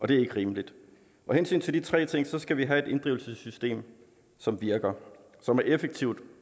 det er ikke rimeligt af hensyn til de tre ting skal vi have et inddrivelsessystem som virker som er effektivt